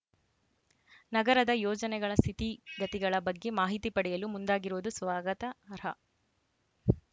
ನಗರದ ಯೋಜನೆಗಳ ಸ್ಥಿತಿಗತಿಗಳ ಬಗ್ಗೆ ಮಾಹಿತಿ ಪಡೆಯಲು ಮುಂದಾಗಿರುವುದು ಸ್ವಾಗತ ರ